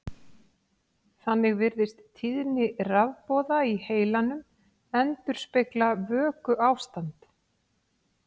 Þannig virðist tíðni rafboða í heilanum endurspegla vökuástand.